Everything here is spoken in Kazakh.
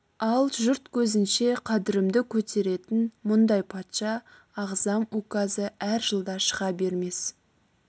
ал жұрт көзінше қадірімді көтеретін мұндай патша ағзам указы әр жылда шыға бермес